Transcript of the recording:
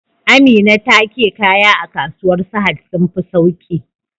Amina take kaya a kasuwar sahad sun fi sauki